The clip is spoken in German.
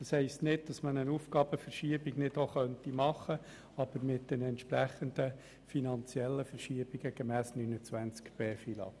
Das heisst nicht, dass man eine Aufgabenverschiebung nicht vornehmen könnte, aber dies muss mit den entsprechenden finanziellen Verschiebungen gemäss Artikel 29b FILAG geschehen.